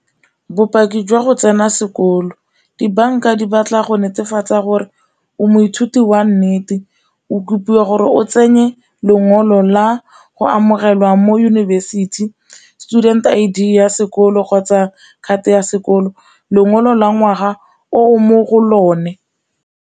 Bopaki jwa go tsena sekolo, dibanka di batla go netefatsa gore o moithuti wa nnete o rutiwa gore o tsenye lengolo la go amogelwa mo yunibesithi student I_D ya sekolo kgotsa card ya sekolo, lengolo la ngwaga o mo go lone.